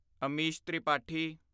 Amish Tripathi